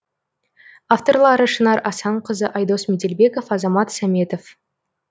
авторлары шынар асанқызы айдос меделбеков азамат саметов